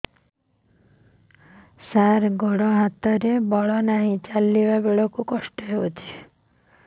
ସାର ଗୋଡୋ ହାତରେ ବଳ ନାହିଁ ଚାଲିଲା ବେଳକୁ କଷ୍ଟ ହେଉଛି